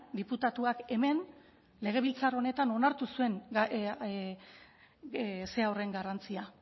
diputatuak hemen legebiltzar honetan onartu zuen zera horren garrantzia